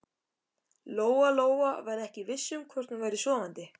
Lóa-Lóa var ekki viss um hvort hún væri sofandi.